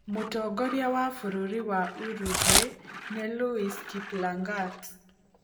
Mũtongoria wa bũrũri wa Uruguay nĩ Luis Kiplangat.